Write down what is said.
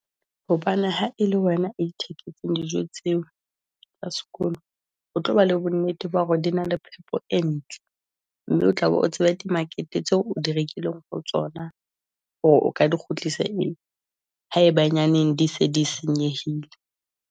Hobane ha e le wena itheketse dijo tseo tsa sekolo, o tlo ba le bo nnete ba hore di na le phepo e ntle. Mme o tla be o tsebe, di market tseo o di rekileng ho tsona, hore o ka di kgutlise haebenyaneng di se di senyehile.